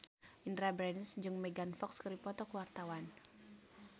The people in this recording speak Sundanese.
Indy Barens jeung Megan Fox keur dipoto ku wartawan